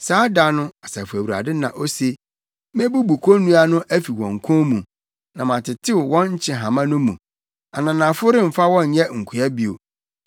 “ ‘Saa da no,’ Asafo Awurade na ose, ‘Mebubu konnua no afi wɔn kɔn mu, na matetew wɔn nkyehama no mu; ananafo remfa wɔn nyɛ nkoa bio.